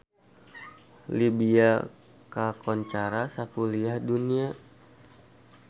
Libya kakoncara sakuliah dunya